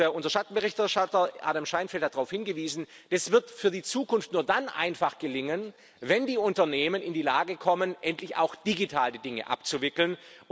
Unser Schattenberichterstatter Adam Szejnfeld hat darauf hingewiesen, dass das für die Zukunft nur dann einfach gelingen wird, wenn die Unternehmen in die Lage kommen, endlich auch digital die Dinge abzuwickeln.